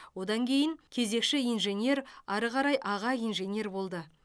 одан кейін кезекші инженер ары қарай аға инженер болды